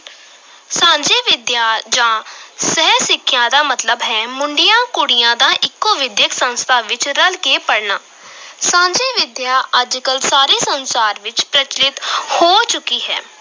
ਸਾਂਝੀ ਵਿੱਦਿਆ ਜਾਂ ਸਹਿ ਸਿੱਖਿਆ ਦਾ ਮਤਲਬ ਹੈ ਮੁੰਡਿਆਂ ਕੁੜੀਆਂ ਦਾ ਇੱਕੋ ਵਿਦਿਅਕ ਸੰਸਥਾ ਵਿੱਚ ਰਲ ਕੇ ਪੜ੍ਹਨਾ ਸਾਂਝੀ ਵਿਦਿਆ ਅੱਜ ਕੱਲ੍ਹ ਸਾਰੇ ਸੰਸਾਰ ਵਿਚ ਪ੍ਰਚੱਲਿਤ ਹੋ ਚੁੱਕੀ ਹੈ।